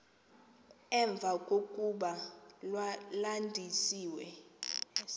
emva kokuba landisiwe